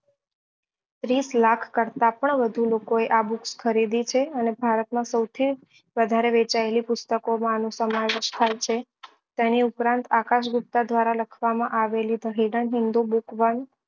ત્રીસ લાખ કરતા પણ વધુ લોકો એ આ books ખરીદી છે અને ભારત માં સૌથી વધારે વેચાયેલી પુસ્તકો માં આનું સમાવેશ થાય છે તેની ઉપરાંત આકાશ ગુપ્તા દ્વારા લખવા માં આવેલી